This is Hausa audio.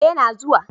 Eh ya na zuwa